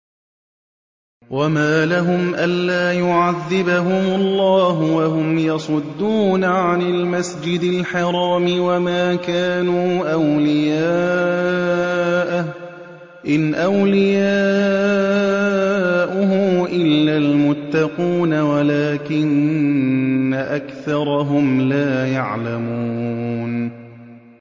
وَمَا لَهُمْ أَلَّا يُعَذِّبَهُمُ اللَّهُ وَهُمْ يَصُدُّونَ عَنِ الْمَسْجِدِ الْحَرَامِ وَمَا كَانُوا أَوْلِيَاءَهُ ۚ إِنْ أَوْلِيَاؤُهُ إِلَّا الْمُتَّقُونَ وَلَٰكِنَّ أَكْثَرَهُمْ لَا يَعْلَمُونَ